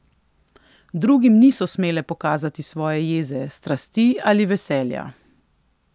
Drugim niso smele pokazati svoje jeze, strasti ali veselja.